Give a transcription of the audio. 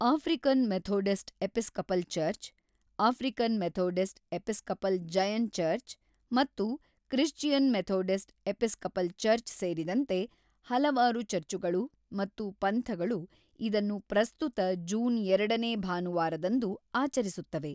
African Methodist Episcopal Church, African Methodist Episcopal Zion Church ಮತ್ತು Christian Methodist Episcopal Church ಸೇರಿದಂತೆ ಹಲವಾರು ಚರ್ಚುಗಳು ಮತ್ತು ಪಂಥಗಳು ಇದನ್ನು ಪ್ರಸ್ತುತ ಜೂನ್‌ ಎರಡನೇ ಭಾನುವಾರದಂದು ಆಚರಿಸುತ್ತವೆ.